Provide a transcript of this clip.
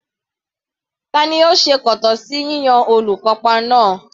Tani ó se kòtọ́ sí yíyan olùkópa náà?